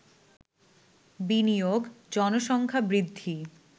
বিনিয়োগ, জনসংখ্যা বৃদ্ধি